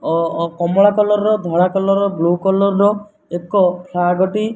କମଳା colour ଧଳା colour blue colour ଏକ flag ଟି --